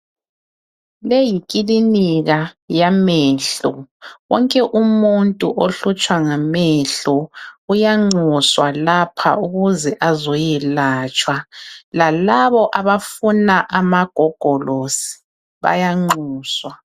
Le yikilinika yamehlo. Wonke umuntu ohlutshwa ngamehlo uyanxuswa lapha ukuze azoyelatshwa lalabo abafuna amagogolosi bayanxuswa.